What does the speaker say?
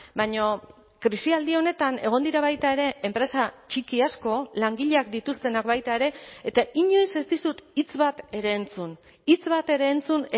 baina krisialdi honetan egon dira baita ere enpresa txiki asko langileak dituztenak baita ere eta inoiz ez dizut hitz bat ere entzun hitz bat ere entzun